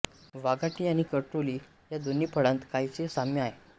वाघाटी आणि करटोली या दोन्ही फळांत काहीसे साम्य आहे